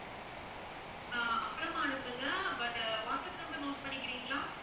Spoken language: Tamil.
ஆஹ் அப்புறமா அனுப்புங்க but வாட்ஸ்ஆப் number note பண்ணிக்கிறீங்களா?